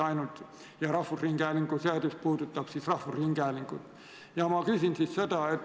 Eesti Rahvusringhäälingu seadus puudutab rahvusringhäälingut.